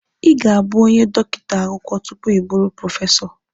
Ị ga-abụ onye dọkịta akwụkwọ tupu ịbụrụ prọfesọ.